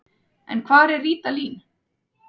En hvar var Ríta Lín?